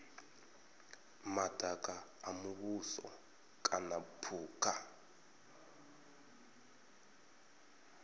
madaka a muvhuso kana phukha